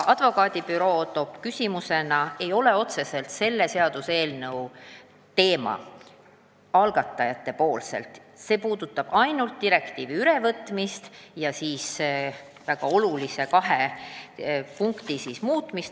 Advokaadibüroo muudatusettepanekud puudutavad pigem uudseid tubakatooteid, see eelnõu aga ainult direktiivi kahe väga olulise sätte ülevõtmist.